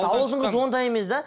ауылдың қызы ондай емес да